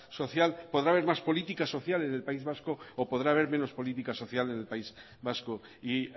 social podrá haber más política social en el país vasco o podrá haber menos política social en el país vasco y